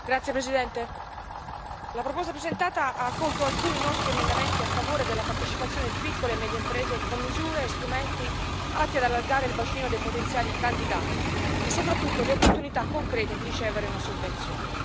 Signor Presidente, onorevoli colleghi, la proposta presentata ha accolto alcuni nostri emendamenti a favore della partecipazione di piccole e medie imprese, con misure e strumenti atti ad allargare il bacino dei potenziali candidati e soprattutto le opportunità concrete di ricevere una sovvenzione.